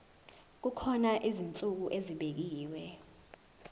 kukhona izinsuku ezibekiwe